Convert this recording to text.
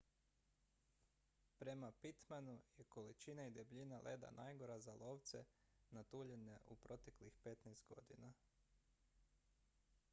prema pittmanu je količina i debljina leda najgora za lovce na tuljane u proteklih 15 godina